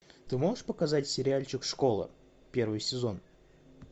ты можешь показать сериальчик школа первый сезон